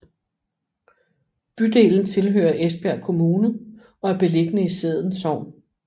Bydelen tilhører Esbjerg Kommune og er beliggende i Sædden Sogn